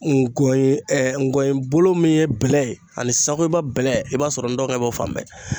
Ngɔye ngɔyɔyebo min ye bɛlɛ ye ani sakoyiba bɛlɛ, i b'a sɔrɔ n dɔgɔkɛ b'o fan bɛɛ.